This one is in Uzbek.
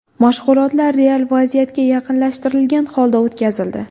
Mashg‘ulotlar real vaziyatga yaqinlashtirilgan holda o‘tkazildi.